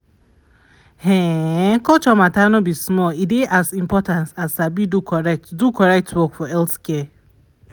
ehn[um]culture matter no be small e dey as important as sabi do correct do correct work for healthcare.